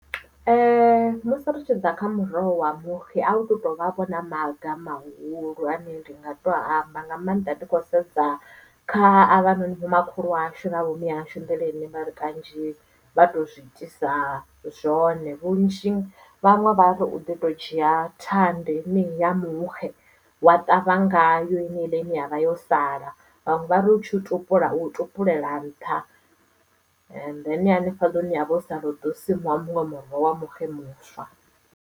Ee musi ri tshi ḓa kha muroho wa muxe a hu tovha vho na maga mahulu ane ndi nga to amba nga maanḓa ndi khou sedza kha a vhanoni vhomakhulu ashu na vhomme yashu nḓila henevha ri kanzhi vha to zwi itisa zwone vhunzhi vhaṅwe vha ri u ḓi to dzhia thanda henei ya muxe wa ṱavha ngayo heila ine yavha yo sala vhaṅwe vha ri utshi u tupula u tupulela nṱha and then hanefha hune havho ho sala hu ḓo simuwa muṅwe wa muxe muswa.